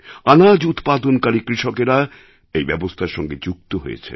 আনাজ উৎপাদনকারী কৃষকেরা এই ব্যবস্থার সঙ্গে যুক্ত হয়েছেন